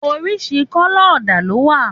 Òrísìrísì kọlọ òdá ló wà